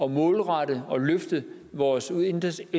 målrette og løfte vores indsats